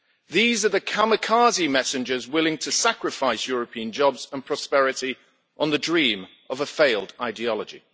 These are the kamikaze messengers willing to sacrifice European jobs and prosperity on the dream of a failed ideology.